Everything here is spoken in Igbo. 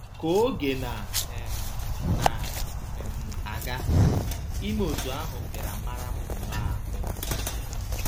Ka oge na um na um - aga, ime otú ahụ bịara mara m nnọọ ahụ́